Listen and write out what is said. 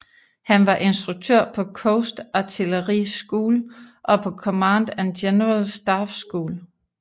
Han var instruktør på Coast Artillery School og på Command and General Staff School